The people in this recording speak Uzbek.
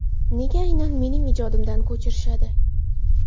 Nega aynan mening ijodimdan ko‘chirishadi?